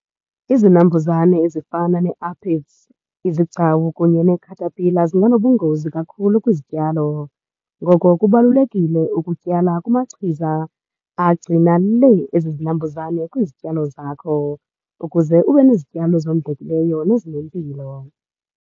Izinambuzane ezifana ne-aphids, izigcawu kunye neekhatapila, zinganobungozi kakhulu kwizityalo. Ngoko kubalulekile ukutyala kumachiza agcina lee ezi zinambuzane kwizityalo zakho, ukuze ube nezityalo ezondlekileyo nezinempilo.